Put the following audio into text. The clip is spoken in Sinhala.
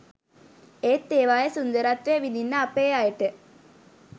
එත් ඒවායේ සුන්දරත්වය විදින්න අපේ අයට